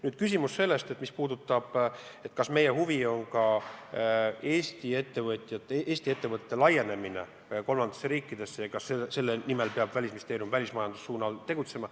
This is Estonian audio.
Nüüd küsimus sellest, kas meie huvi on ka Eesti ettevõtete laienemine kolmandatesse riikidesse, kas selle nimel peab Välisministeerium välismajanduse suunal tegutsema.